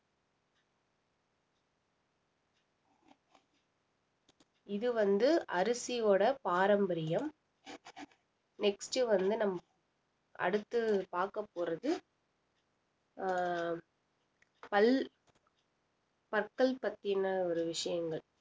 இது வந்து அரிசியோட பாரம்பரியம் next வந்து நம்ம அடுத்து பாக்க போறது அஹ் பல் பத்தல் பத்தின ஒரு விஷயங்கள்